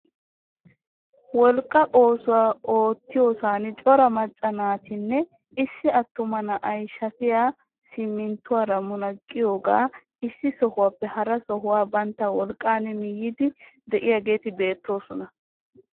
Wolqqaa oosuwaa ottiyoosan cora macca naatinne issi attuma na'ay shafiyaa siminttuwaara munaqqidoogaa issi sohuwaappe hara sohuwaa bantta wolqqaan miyiidi de'iyaageti beettoosona.